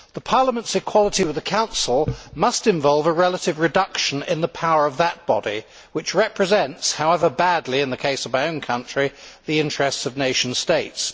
The Parliament's equality with the Council must involve a relative reduction in the power of that body, which represents however badly in the case of my own country the interests of nation states.